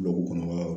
Tuloko kɔnɔ yɔrɔ